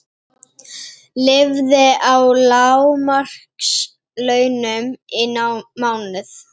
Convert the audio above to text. Lifði á lágmarkslaunum í mánuð